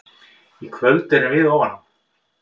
Í kvöld erum við ofan á.